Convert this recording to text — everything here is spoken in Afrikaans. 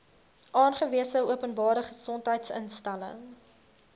aangewese openbare gesondheidsinstelling